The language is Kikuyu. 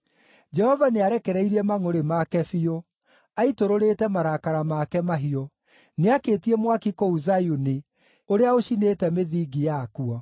Jehova nĩarekereirie mangʼũrĩ make biũ; aitũrũrĩte marakara make mahiũ. Nĩakĩtie mwaki kũu Zayuni ũrĩa ũcinĩte mĩthingi yakuo.